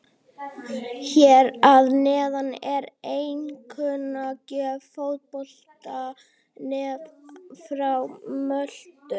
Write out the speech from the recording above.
Hér að neðan er einkunnagjöf Fótbolta.net frá Möltu.